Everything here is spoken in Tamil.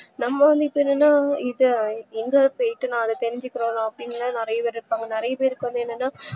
நம்ம என்ன நினைப்போம் எங்க போயிட்டு நா அத தெரிஞ்சுக்குறது அப்டின்லாம் நறைய பேர் இருப்பாங்க நறைய பேர்க்கு என்னன்னா